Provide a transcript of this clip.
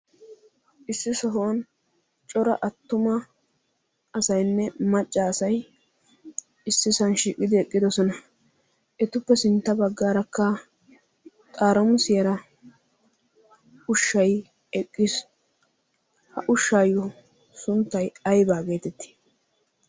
issi sohuwan cora attuma asayinne macca asai issi sanshiiqqidi eqqidosona etuppe sintta baggaarakka xaaramusiyara ushshay eqqiisu. ha ushshaayyo sunttai aibaa geetetti?